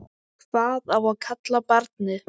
Hvað á að kalla barnið?